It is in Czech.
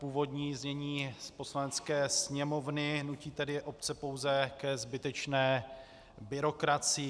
Původní znění z Poslanecké sněmovny nutí tedy obce pouze ke zbytečné byrokracii.